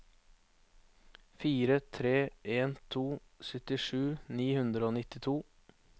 fire tre en to syttisju ni hundre og nittito